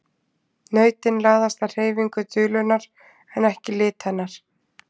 Nautin laðast að hreyfingu dulunnar en ekki lit hennar.